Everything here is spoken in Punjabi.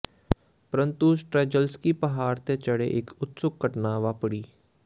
ਪਰੰਤੂ ਸਟ੍ਰੈਜਲਸਕੀ ਪਹਾੜ ਤੇ ਚੜ੍ਹੇ ਇੱਕ ਉਤਸੁਕ ਘਟਨਾ ਵਾਪਰੀ